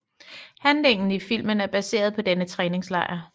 Handlingen i filmen er baseret på denne træningslejr